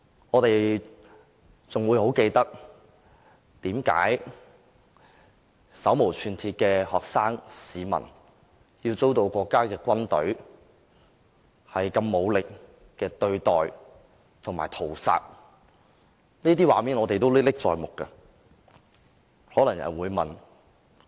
我們還記得手無寸鐵的學生和市民遭到國家軍隊的武力對待及屠殺，這些畫面仍然歷歷在目。